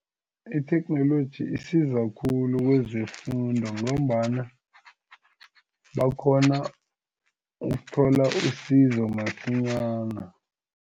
Itheknoloji isiza khulu kwezefundo ngombana bakghona ukuthola usizo masinyana.